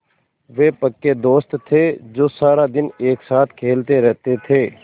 वे पक्के दोस्त थे जो सारा दिन एक साथ खेलते रहते थे